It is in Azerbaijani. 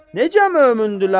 Necə mömündürlər?